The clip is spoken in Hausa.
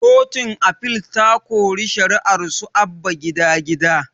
Kotun afil ta kori shari'arsu abba gida gida